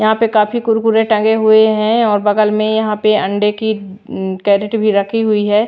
यहां पे काफी कुरकुरे टंगे हुए हैं और बगल में यहां पे अंडे की कैरेट भी रखी हुई है।